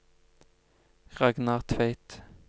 Ragnar Tveit